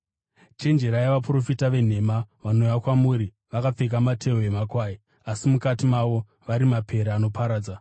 “Chenjererai vaprofita venhema, vanouya kwamuri vakapfeka matehwe emakwai asi mukati mavo vari mapere anoparadza.